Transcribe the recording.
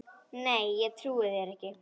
Nei, ég trúi þér ekki.